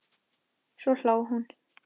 Svo hló hún.